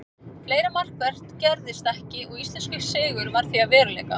Fleira markvert gerðist ekki og íslenskur sigur varð því að veruleika.